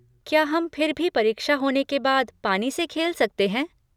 क्या हम फिर भी परीक्षा होने के बाद पानी से खेल सकते हैं?